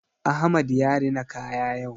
Ahmad ya rina kaya yau.